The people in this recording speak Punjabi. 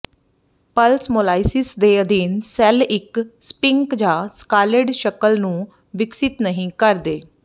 ਪਲਸਮੌਲਾਈਸਿਸ ਦੇ ਅਧੀਨ ਸੈੱਲ ਇੱਕ ਸਪਿੰਕ ਜਾਂ ਸਕਾਲੇਡ ਸ਼ਕਲ ਨੂੰ ਵਿਕਸਤ ਨਹੀਂ ਕਰਦੇ